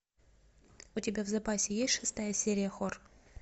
у тебя в запасе есть шестая серия хор